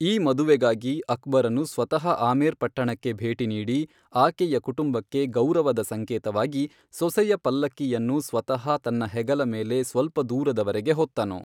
ಈ ಮದುವೆಗಾಗಿ ಅಕ್ಬರನು ಸ್ವತಃ ಆಮೇರ್ ಪಟ್ಟಣಕ್ಕೆ ಭೇಟಿ ನೀಡಿ, ಆಕೆಯ ಕುಟುಂಬಕ್ಕೆ ಗೌರವದ ಸಂಕೇತವಾಗಿ ಸೊಸೆಯ ಪಲ್ಲಕ್ಕಿಯನ್ನು ಸ್ವತಃ ತನ್ನ ಹೆಗಲ ಮೇಲೆ ಸ್ವಲ್ಪ ದೂರದವರೆಗೆ ಹೊತ್ತನು.